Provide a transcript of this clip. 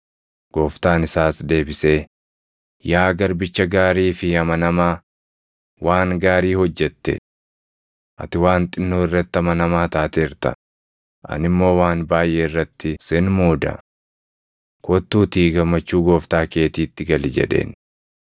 “Gooftaan isaas deebisee, ‘Yaa garbicha gaarii fi amanamaa, waan gaarii hojjette! Ati waan xinnoo irratti amanamaa taateerta; ani immoo waan baayʼee irratti sin muuda. Kottuutii gammachuu gooftaa keetiitti gali!’ jedheen.